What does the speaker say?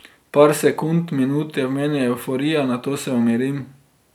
Par sekund, minut je v meni evforija, nato se umirim.